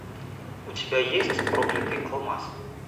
у тебя есть проклятый алмаз